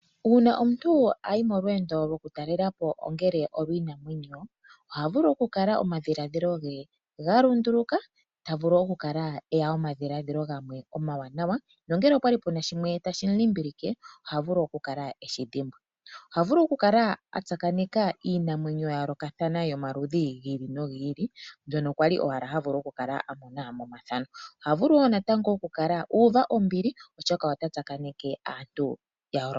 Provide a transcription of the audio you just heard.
Uuna omuntu ayi molweendo lwokutalela po ongele olwiinamwenyo, ohavulu okukala omadhiladhilo ge galundunduluka, tavulu okukala eya omadhiladhilo gamwe omawanawa nongele opwali puna shimwe tashi mu limbilike ohavulu okukala eshidhimbwa. Oha vulu okutsakaneka iinamwenyo mbyono kwali owala ha vulu okukala a mona momathano. Ohavulu wo okukala uuva ombili oshoka otatsakaneke aantu ya yoolokathana.